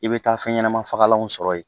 I bɛ taa fɛn ɲɛnama fagalanw sɔrɔ yen